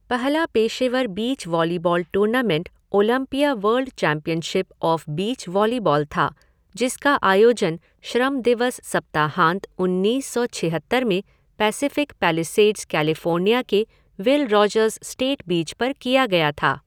पहला पेशेवर beach volleyball tournament Olympia world championship of beach volleyball था, जिसका आयोजन श्रम दिवस सप्ताहांत उन्नीस सौ छिहत्तर में पैसिफ़िक पैलिसेड्स, कैलिफ़ोर्निया के विल रोजर्स स्टेट बीच पर किया गया था।